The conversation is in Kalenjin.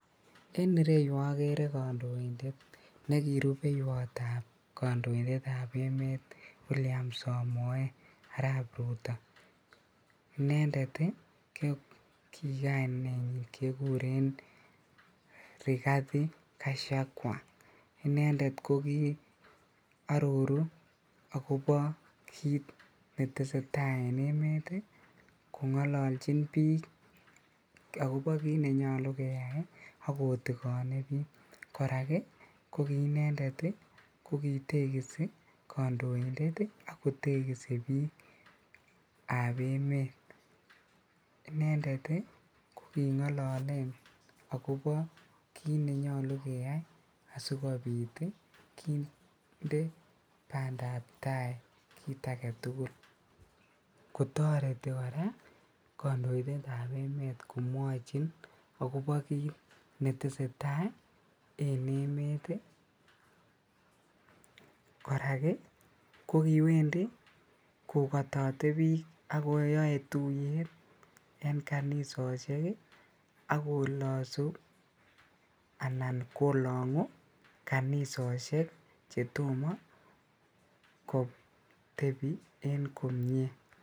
En ireyu okere kondoindet nekirupeiwotab kondoindetab emet William Samoe Arap Ruto inendet ii kikainenyi kokikikure Rigathi Gachagua, inendet kokiororu akobo kit netesetaa en emet ii kongololjin bik akobo kit nenyolu keyai ak kotikone bik, korak inendet kokitekisi kondoindet ak kotekisi bikab emet inendet ii kokingololen akobo kit nenyolu keyai asikobit kinde bandab tai kit agetugul, kotoreti koraa kondoindetab emet komwochin akobo kit netesetai en emet ii, koraa kokiwendi kokotote bik ak koyoe tuyet en kanisosiek ak kolosu anan kolongu kanisosiek chetomo kotebi en komie.